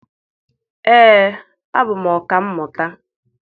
Ee, abụ m ọka mmụta.